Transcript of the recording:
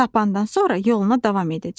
Tapandan sonra yoluna davam edəcək.